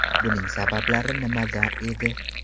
Buning sabablari nimada edi?